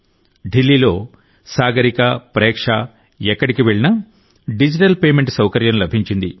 ఢిల్లీలో సాగరిక ప్రేక్ష ఎక్కడికి వెళ్లినా డిజిటల్ పేమెంట్ సౌకర్యం లభించింది